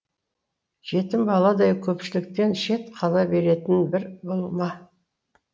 жетім баладай көпшіліктен шет қала беретін бір бұл ма